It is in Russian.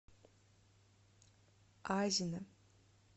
азино